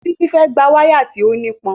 Títí fẹ́ gba wáyà tí ó nípọn